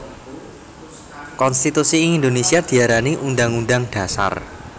Konstitusi ing Indonesia diarani Undhang Undhang Dhasar